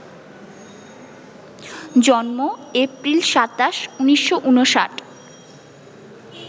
জন্ম এপ্রিল ২৭, ১৯৫৯